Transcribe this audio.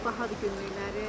Bahadır günlük qiymətləri.